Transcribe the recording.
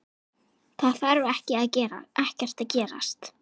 Það þarf ekkert að gerast.